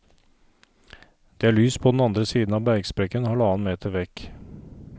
Det er lys på den andre siden av bergsprekken halvannen meter vekk.